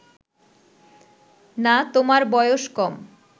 না তোমার বয়স কম